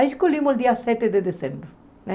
Aí escolhemos o dia sete de dezembro, né?